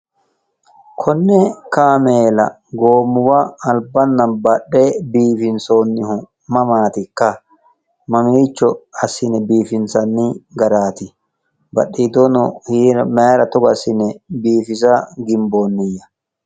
Konne kaameela goommuwa albaanna badheenni biifinsionnihu mamaatikka mamiicho assine biifinse wirroonni garaati badhiidoono mayira togo assine biffisa ginbiya.